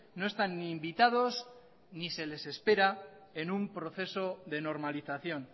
no están ni invitados ni se les espera en un proceso de normalización